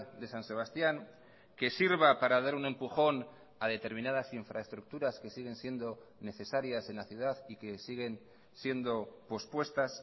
de san sebastián que sirva para dar un empujón a determinadas infraestructuras que siguen siendo necesarias en la ciudad y que siguen siendo pospuestas